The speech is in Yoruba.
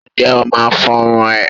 Ǹjẹ́ ó máa fọrun ẹ̀?